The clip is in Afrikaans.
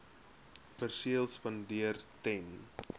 perseel spandeer ten